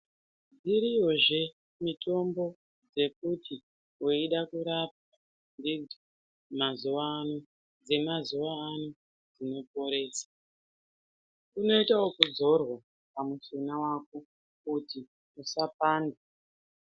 Iriyozve mitombo dzekuti weida kurapwa mazuwa ano dzemazuwa ano dzinoporesa dzinoitwe wekudzorwa pamushuna wako kuti usapanda.